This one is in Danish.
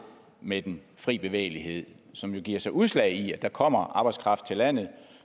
med den fri bevægelighed som giver sig udslag i at der kommer arbejdskraft til landet